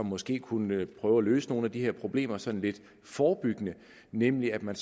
måske kunne prøve at løse nogle af de her problemer sådan lidt forebyggende nemlig at man